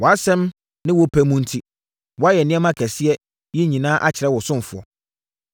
Wʼasɛm ne wo pɛ mu enti, woayɛ nneɛma kɛseɛ yi nyinaa akyerɛ wo ɔsomfoɔ.